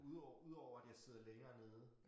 Ud udover at jeg sidder længere nede